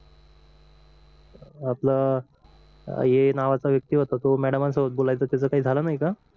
आपलं ये नावाचा व्यक्ती होता तो मॅडम सोबत बोलायचं त्याच काही झाला नाही का